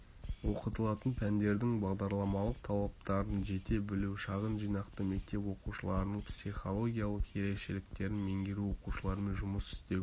оқытылатын пәндердің бағдарламалық талаптарын жете білу шағын жинақты мектеп оқушыларының психологиялық ерекшеліктерін меңгеру оқушылармен жұмыс істеу